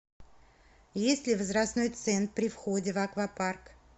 есть ли возрастной ценз при входе в аквапарк